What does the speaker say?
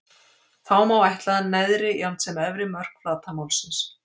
Þá má áætla neðri jafnt sem efri mörk flatarmálsins.